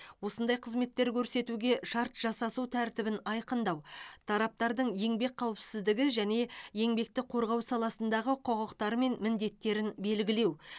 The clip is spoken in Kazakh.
осындай қызметтер көрсетуге шарт жасасу тәртібін айқындау тараптардың еңбек қауіпсіздігі және еңбекті қорғау саласындағы құқықтары мен міндеттерін белгілеу